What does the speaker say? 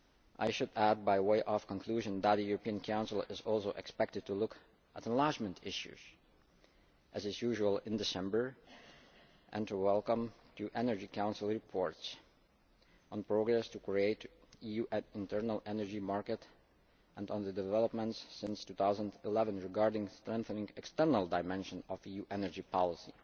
week. I should add, by way of conclusion, that the European Council is also expected to look at enlargement issues as is usual in December and to welcome two Energy Council reports on progress to create the EU internal energy market and on developments since 2011 regarding strengthening the external dimension of EU energy policy.